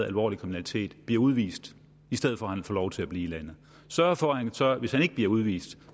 alvorlig kriminalitet bliver udvist i stedet for at han får lov til at blive i landet og sørger for at han hvis han ikke bliver udvist